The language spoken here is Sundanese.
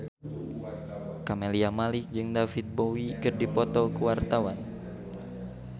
Camelia Malik jeung David Bowie keur dipoto ku wartawan